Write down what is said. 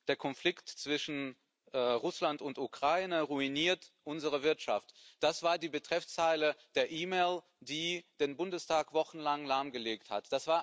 Der Konflikt zwischen Russland und Ukraine ruiniert unsere Wirtschaft das war die Betreffzeile der E Mail, die den Bundestag wochenlang lahmgelegt hat.